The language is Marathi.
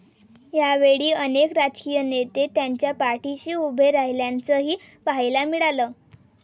यावेळी अनेक राजकीय नेते त्यांच्या पाठिशी उभे राहिल्याचंही पाहायला मिळालं.